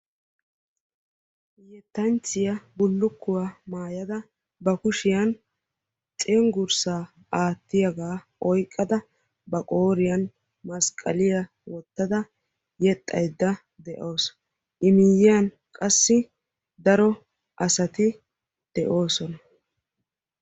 Yettanchchiyaa bullukkuwaa maayada ba kushiyan cenggurssaa aattiyaabaa oyqqada ba qooriyan masqaliyaa wottada yexxaydda de"awus. I miyyiyan qassi daro asati de'oosona.